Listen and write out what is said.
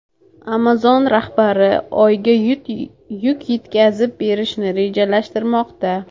Amazon rahbari Oyga yuk yetkazib berishni rejalashtirmoqda.